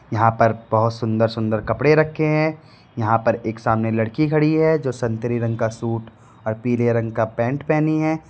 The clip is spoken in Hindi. यहां पर बहोत सुंदर सुंदर कपड़े रखें है यहां पर एक सामने लड़की खड़ी है जो संतरे रंग का सूट और पीले रंग का पैंट पहनी है।